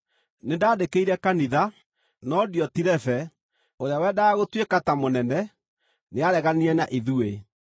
Nĩndandĩkĩire kanitha, no Diotirefe, ũrĩa wendaga gũtuĩka ta mũnene, nĩareganire na ithuĩ.